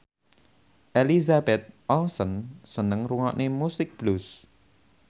Elizabeth Olsen seneng ngrungokne musik blues